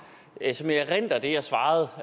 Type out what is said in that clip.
som jeg erindrer det jeg svarede og